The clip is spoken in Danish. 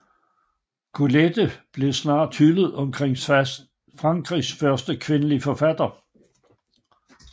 Colette blev snart hyldet som Frankrigs største kvindelige forfatter